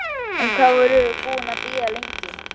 En hvað vorum við búin að bíða lengi?